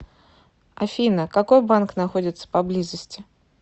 афина какой банк находится поблизости